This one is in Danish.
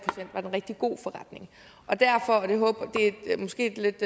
det en rigtig god forretning det er måske et lidt